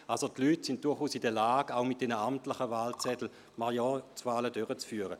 Die Leute sind durchaus in der Lage, auch mit den amtlichen Wahlzetteln Majorzwahlen durchzuführen.